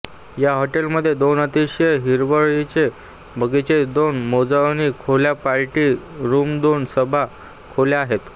या हॉटेल मध्ये दोन अतिशय हिरवळीचे बगीचे दोन मेजवानी खोल्या पार्टी रूमदोन सभा खोल्या आहेत